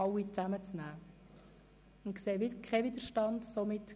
– Ich stelle keinen Widerstand fest.